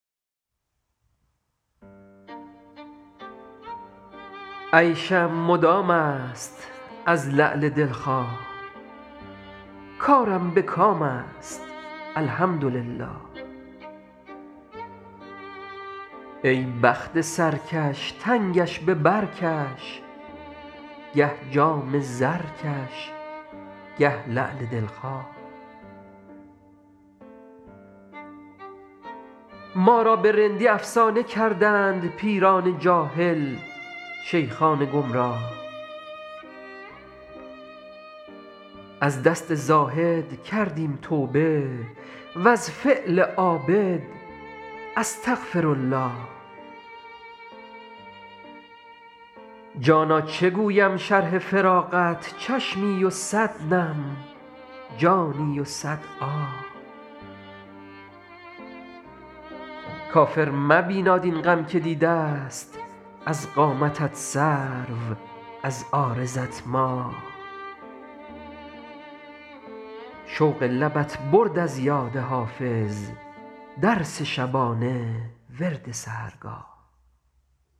عیشم مدام است از لعل دل خواه کارم به کام است الحمدلله ای بخت سرکش تنگش به بر کش گه جام زرکش گه لعل دل خواه ما را به رندی افسانه کردند پیران جاهل شیخان گمراه از دست زاهد کردیم توبه و از فعل عابد استغفرالله جانا چه گویم شرح فراقت چشمی و صد نم جانی و صد آه کافر مبیناد این غم که دیده ست از قامتت سرو از عارضت ماه شوق لبت برد از یاد حافظ درس شبانه ورد سحرگاه